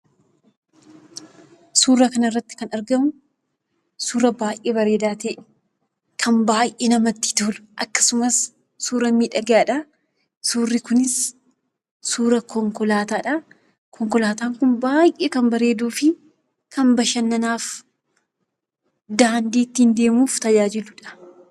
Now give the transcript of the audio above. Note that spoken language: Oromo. Suuraa kanarratti kan argamu suuraa baay'ee bareedaa ta'e, kan baay'ee namatti tolu akkasumas suuraa miidhagaadha. Suurri kunis suuraa konkolaataadha. Konkolaataan kun kan baay'ee miidhaguu fi bashannanaaf, daandii ittiin deemuuf kan tajaajiludha.